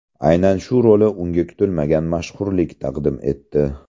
Aynan shu roli unga kutilmagan mashhurlik taqdim etdi.